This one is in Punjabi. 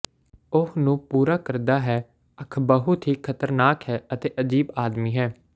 ਉਹ ਨੂੰ ਪੂਰਾ ਕਰਦਾ ਹੈ ਅੱਖ ਬਹੁਤ ਹੀ ਖ਼ਤਰਨਾਕ ਹੈ ਅਤੇ ਅਜੀਬ ਆਦਮੀ ਹੈ